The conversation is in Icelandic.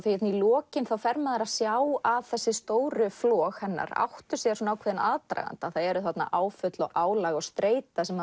lokin þá fer maður að sjá að þessi stóru flog hennar áttu sér ákveðinn aðdraganda það eru þarna áföll og álag og streita sem